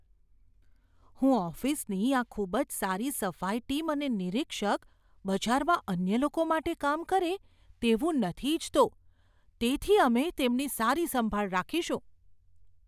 હું ઓફિસની આ ખૂબ જ સારી સફાઈ ટીમ અને નિરીક્ષક બજારમાં અન્ય લોકો માટે કામ કરે તેવું નથી ઇચ્છતો. તેથી, અમે તેમની સારી સંભાળ રાખીશું.